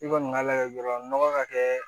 I kɔni b'a layɛ dɔrɔn nɔgɔ ka kɛ